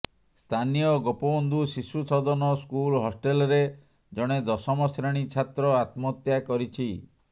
ସ୍ଥାନୀୟ ଗୋପବନ୍ଧୁ ଶିଶୁ ସଦନ ସ୍କୁଲ ହଷ୍ଟେଲରେ ଜଣେ ଦଶମ ଶ୍ରେଣୀ ଛାତ୍ର ଆତ୍ମହତ୍ୟା କରିଛି